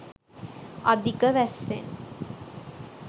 අධික වැස්සෙන්